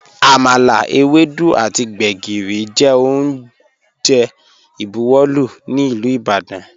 Àmàlà, èwèdú àtì gbẹ̀gìrì jẹ ọ̀un jẹ́ ọ́njè ìbùwọ̀lú ni Ilú Ìbàdàn.